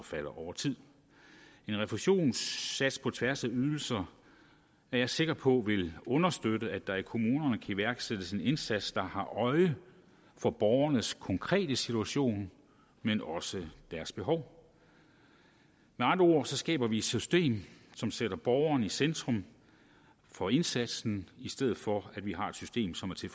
falder over tid en refusionssats på tværs af ydelser er jeg sikker på vil understøtte at der i kommunerne kan iværksættes en indsats der har øje for borgernes konkrete situation men også deres behov med andre ord skaber vi et system som sætter borgeren i centrum for indsatsen i stedet for at vi har et system som er til